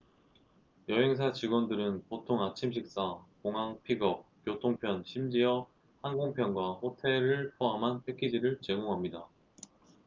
여행사 직원들은 보통 아침 식사 공항 픽업/교통편 심지허 항공편과 호텔를 포함한 패키지를 제공합니다